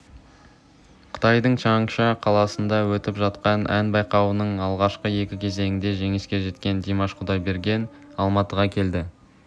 қытайдың чаңша қаласында өтіп жатқан ән байқауының алғашқы екі кезеңінде жеңіске жеткен димаш құдайберген алматыға келді